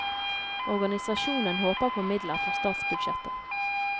Organisasjonen håper på midler fra statsbudsjettet.